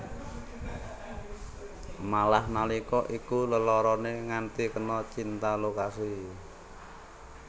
Malah nalika iku leloroné nganti kena cinta lokasi